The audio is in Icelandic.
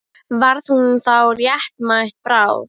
Varð hún þá réttmæt bráð?